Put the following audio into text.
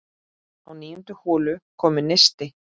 Á níundu holu kom neisti.